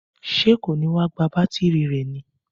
Ṣé kò ní wá gba bátírí rẹ̀ ní?